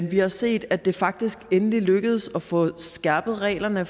vi har set at det faktisk endelig er lykkedes at få skærpet reglerne